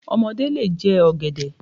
Ọmọdé lè jẹ ọ̀gẹ̀dẹ̀.